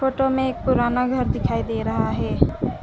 Photo में एक पुराना घर दिखाई दे रहा है।